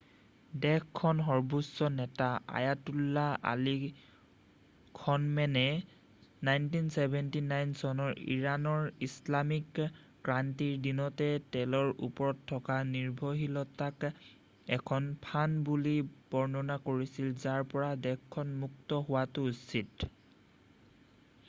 দেশখনৰ সৰ্বোচ্চ নেতা আয়াতাল্লাহ আলি খনমেনেই 1979 চনৰ ইৰাণৰ ইছলামিক ক্ৰান্তিৰ দিনতে তেলৰ ওপৰত থকা নিৰ্ভৰশীলতাক এখন ফান্দ” বুলি বৰ্ণনা কৰিছিল যাৰ পৰা দেশখন মূক্ত হোৱাটো উচিত।